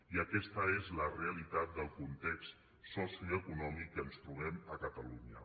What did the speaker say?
i aquesta és la realitat del context socioeconòmic que ens trobem a catalunya